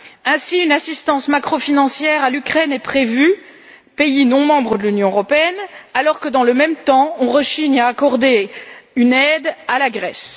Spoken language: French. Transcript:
Ainsi, une assistance macrofinancière à l'Ukraine, pays non membre de l'Union, est prévue, alors que, dans le même temps, on rechigne à accorder une aide à la Grèce.